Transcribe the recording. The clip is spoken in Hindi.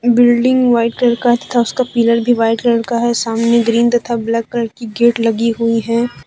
बिल्डिंग व्हाइट कलर का तथा उसका पिलर भी व्हाइट कलर का है सामने ग्रीन तथा ब्लैक कलर की गेट लगी हुई है।